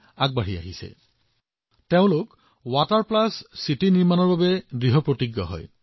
আৰু তেওঁলোকে কি কৰিবলৈ সংকল্পবদ্ধ হল তেওঁলোকে ৱাটাৰ প্লাছ চিটি বৰ্তাই ৰখাৰ বাবে কঠোৰ পৰিশ্ৰম কৰি আছে